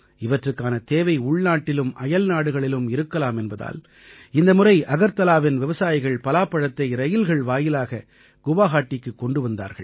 இவற்றுக்கான தேவை உள்நாட்டிலும் அயல்நாடுகளிலும் இருக்கலாம் என்பதால் இந்த முறை அகர்தலாவின் விவசாயிகள் பலாப்பழத்தை ரயில்கள் வாயிலாக குவாஹாட்டிக்குக் கொண்டு வந்தார்கள்